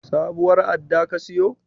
Sabuwar adda ka siyo?